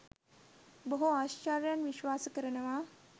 බොහෝ ආශ්චර්යයන් විශ්වාස කරනවා.